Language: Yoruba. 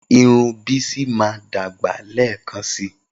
Irun Bisi máa dàgbà lẹ́ẹ̀kan síi.